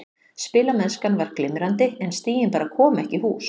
Spilamennskan var glimrandi en stigin bara komu ekki í hús.